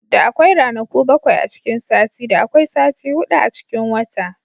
Da akwai ranaku bakwai a cikin sati, da akwai sati hudu a cikin wata.